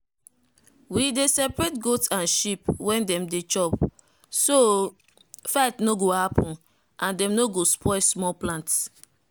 we dey separate goat and sheep when dem dey chop so fight no go happen and dem no go spoil small plants.